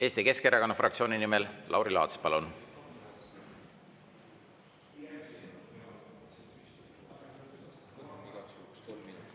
Eesti Keskerakonna fraktsiooni nimel Lauri Laats, palun!